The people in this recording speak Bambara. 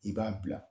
I b'a bila